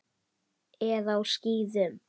Eða á skíðum.